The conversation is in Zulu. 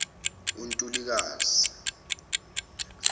untulukazi